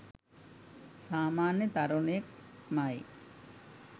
සාමන්‍ය තරුණයෙක් මයි.